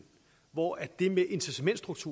hvor er det fantastisk vi